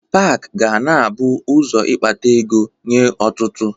Pak ga na-abụ ụzọ ịkpata ego nye ọtụtụ